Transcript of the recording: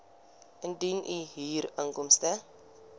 indien u huurinkomste